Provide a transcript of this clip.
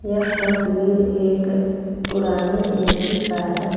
यह तस्वीर एक पुराने ए सी का है।